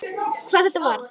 hvað þetta varðar.